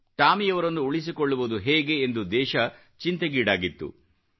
ಟಾಮಿಯವರನ್ನು ಉಳಿಸಿಕೊಳ್ಳುವುದು ಹೇಗೆ ಎಂದು ದೇಶ ಚಿಂತೆಗೀಡಾಗಿತ್ತು